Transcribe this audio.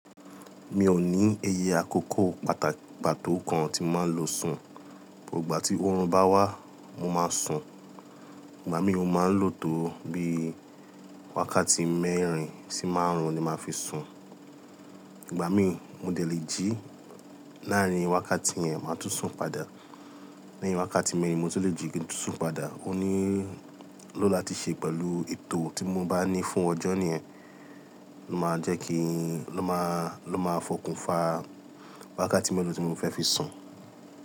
Mi ò ní iye àkókò pàtó kan tí mo màá n lọ sùn. Igbà tí oorun bá wá, mó má sùn. Ìgbà mí mó máa ń lò tó bí wákàtí mẹ́rin sí márùn-ún ni màá fi sùn. Ìgbà mí, mó dẹ̀ lé jí láàrin wákàtí yẹn, mó tún sùn padà. Láàrin wákàtí mẹ́rin, mó tún lè jí kin tún sùn padà. Óníló lati ṣe pẹ̀lú ètò tí mó bá ní fún ọjọ́ yẹn. Máa jẹ́ kí, lọ́ má, lọ́ máa fọkùnfa wákàtí mẹ́rin tí mó fẹ́ fi sùn.